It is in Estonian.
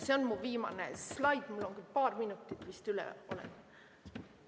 See on mu viimane slaid, ma olen küll paar minutit vist üle läinud.